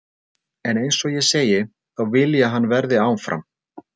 En eins og ég segi, þá vil ég að hann verði áfram.